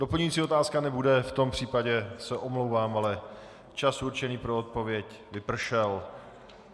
Doplňující otázka nebude, v tom případě se omlouvám, ale čas určený pro odpověď vypršel.